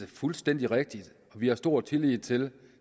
fuldstændig rigtigt at vi har stor tillid til